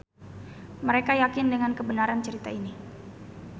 Mereka yakin dengan kebenaran cerita ini.